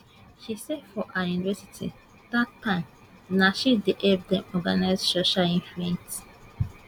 she say for her university dat time na she dey help dem organise social events